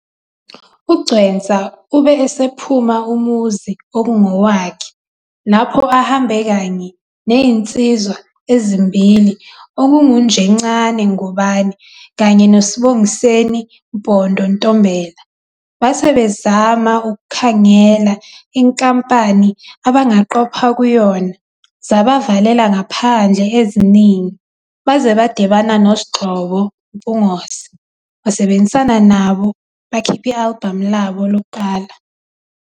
UGcwensa ube esephuma umuzi okungowakhe lapho ahambe kanye nensizwa ezimbili okungu Njencane Ngubane kanye noSbongiseni Mpondo Ntombela. Base bezama ukukhangela inkampani abangaqopha kuyona, zabavalela ngaphandle eziningi baze badibana noSgxobo Mpungose wasebenzisana nabo bakhiphi "album" labo lokuqala.